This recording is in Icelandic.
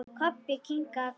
Kobbi kinkaði kolli.